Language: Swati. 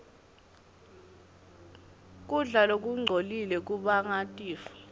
kudla lokungcolile kubanga tifo